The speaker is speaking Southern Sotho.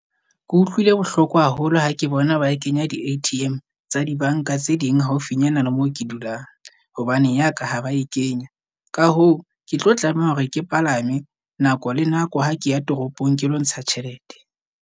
Ke utlwile bohloko haholo ha ke bona ba e kenya di-A_T_M tsa dibanka tse ding haufinyana le moo ke dulang. Hobane ya ka ha ba e kenya. Ka hoo, ke tlo tlameha hore ke palame nako le nako, ha ke ya toropong, ke lo ntsha tjhelete.